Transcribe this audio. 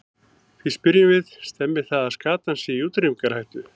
Því spyrjum við, stemmir það að skatan sé í útrýmingarhættu?